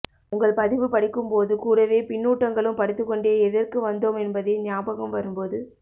உங்கள் பதிவு படிக்கும் போது கூடவே பின்னூட்டங்களும் படித்துக்கொண்டே எதற்கு வந்தோம் என்பதே ஞாபகம் வரும்போது